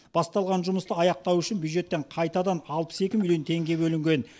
басталған жұмысты аяқтау үшін бюджеттен қайтадан алпыс екі миллион теңге бөлінген